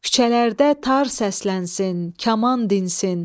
Küçələrdə tar səslənsin, kaman dinsin.